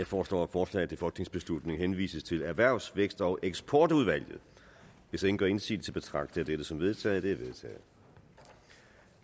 foreslår at forslaget til folketingsbeslutning henvises til erhvervs vækst og eksportudvalget hvis ingen gør indsigelse betragter jeg dette som vedtaget